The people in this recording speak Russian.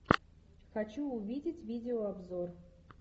хочу увидеть видео обзор